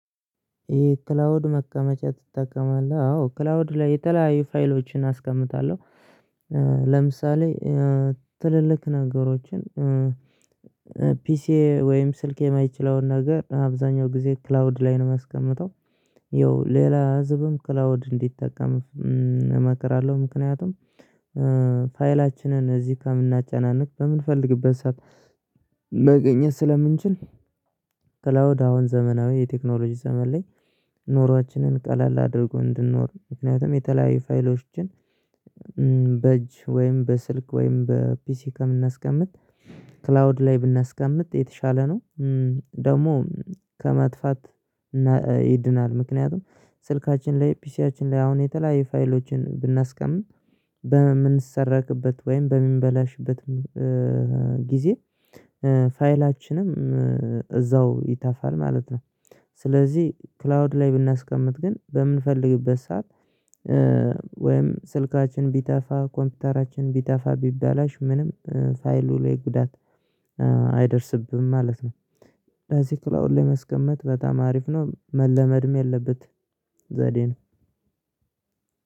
የክላውድ መቀመጫ ትጠቀማለህ? አዎ ክላውድ ላይ የተለያዩ ፋይሎችን አስቀምጣለሁ። ለምሳሌ ትልልቅ ነገሮችን። ፒሲ ወይም ስልክ የማይችለውን ነገር አብዛኛው ጊዜ ክላውድ ላይ ነው የማስቀምጠው። ይኸው ሌላ ህዝብም ክላውድ እንዲጠቀም እመክራለሁ። ምክንያቱም ፋይላችንን እዚህ ከምናጨናንቅ በምንፈልግበት ሰዓት መገኘት ስለምንችል። ክላውድ አሁን ዘመናዊ የቴክኖሎጂ ዘመን ላይ ኖሯችንን ቀላል አድርጎ እንድንኖር ምክንያቱም የተለያዩ ፋይሎችን። በእጅ ወይም በስልክ ወይም በፒሲ ከምናስቀምጥ ክላውድ ላይ ብናስቀምጥ የተሻለ ነው። ደግሞ ከመጥፋት ይድናል። ምክንያቱም ስልካችን ላይ ፒሲያችን ላይ አሁን የተለያየ ፋይሎችን ብናስቀምጥ በምንሰረቅበት ወይም በምንበላሽበትም ጊዜ ፋይላችንም እዛው ይተፋል ማለት ነው። ስለዚህ ክላውድ ላይ ብናስቀምጥ ግን በምንፈልግበት ሰዓት። ወይም ስልካችን ቢተፋ ኮምፒውተራችን ቢጠፋ ቢባላሽ ምንም ፋይሉ ላይ ጉዳት አይደርስብህም ማለት ነው። እዚህ ክላውን ላይ መስቀመጥ በጣም አሪፍ ነው መለመድም የለበት ዘዴ ነው።